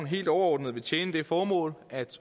helt overordnet vil tjene det formål at